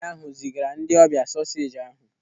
Nwaanyị ahụ zigara ndị ọbịa soseji ahụ.